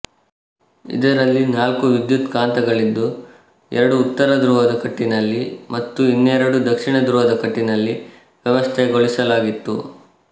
ಇದರಲ್ಲಿ ನಾಲ್ಕು ವಿದ್ಯುತ್ ಕಾಂತಗಳಿದ್ದು ಎರಡು ಉತ್ತರ ಧ್ರುವದ ಕಟ್ಟಿನಲ್ಲಿ ಮತ್ತು ಇನ್ನೆರಡು ದಕ್ಷಿಣ ಧ್ರುವದ ಕಟ್ಟಿನಲ್ಲಿ ವ್ಯವಸ್ಥೆಗೊಳಿಸಲಾಗಿತ್ತು